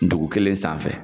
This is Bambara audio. Dugu kelen sanfɛ.